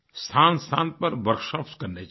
स्थानस्थान पर workshopsकरने चाहिए